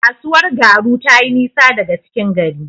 Kasuwar Garu tayi nisa daga cikin gari.